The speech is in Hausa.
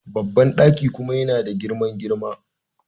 Babban daki kuma yana da girman girma..